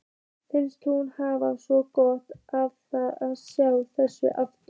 Finnst hún hafa svo gott af að sjá þetta aftur.